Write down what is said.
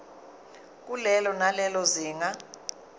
kulelo nalelo zinga